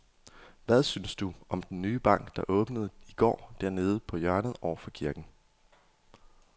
Hvad synes du om den nye bank, der åbnede i går dernede på hjørnet over for kirken?